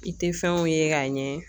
I tɛ fɛnw ye k'a ɲɛ